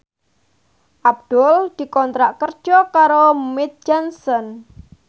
Abdul dikontrak kerja karo Mead Johnson